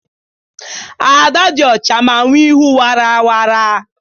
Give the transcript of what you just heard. Ada dị ọcha ma nwe ihu wara wara